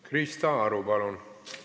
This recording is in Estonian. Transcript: Krista Aru, palun!